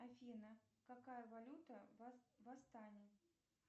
афина какая валюта в астане